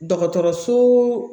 Dɔgɔtɔrɔso